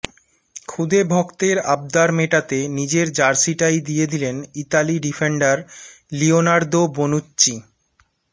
খুদে ভক্তের আবদার মেটাতে নিজের জার্সিটাই দিয়ে দিলেন ইতালি ডিফেন্ডার লিওনার্দো বোনুচ্চি